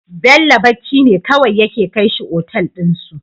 Bello bacci ne kawai yake kai shi otal din su